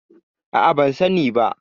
A'a, ban sani ba.